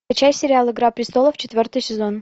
включай сериал игра престолов четвертый сезон